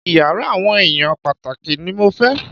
Iyàrá àwọn èèyàn pàtàkì ní mo fẹ́!